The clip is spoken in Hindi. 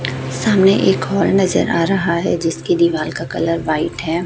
सामने एक हाल नजर आ रहा है जिसकी दीवाल का कलर व्हाइट है।